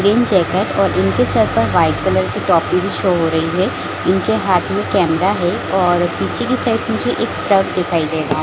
green jacket और इनकी सर पर वाइट कलर की टोपी भी शो हो रही है इनके हाथ में कैमरा है और पीछे की साइड मुझे एक दिखाई दे रहा--